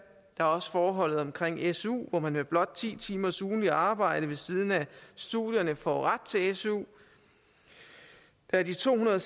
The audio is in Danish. der er også forholdet omkring su hvor man med blot ti timers ugentligt arbejde ved siden af studierne får ret til su der er de to hundrede